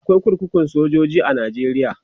akwai kurkukun sojoji a nigeria